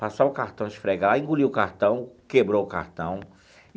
Passar o cartão e esfregar, engoliu o cartão, quebrou o cartão.